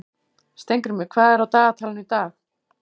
Steingrímur, hvað er á dagatalinu í dag?